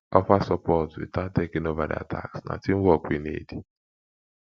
offer support without taking over their tasks na teamwork we need